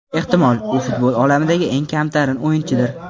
Ehtimol, u futbol olamidagi eng kamtarin o‘yinchidir.